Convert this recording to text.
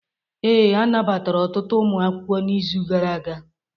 Ee, anabatara ọtụtụ ụmụ akwụkwọ n'izu gara aga.